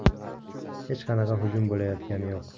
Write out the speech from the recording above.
Hech qanaqa hujum bo‘layotgani yo‘q.